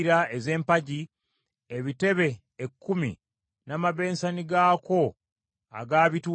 ebitebe ekkumi n’amabensani gaakwo agaabituulangako kkumi;